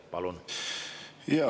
Palun!